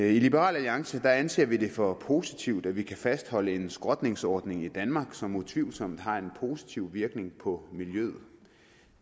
i liberal alliance anser vi det for positivt at vi kan fastholde en skrotningsordning i danmark som utvivlsomt har en positiv virkning på miljøet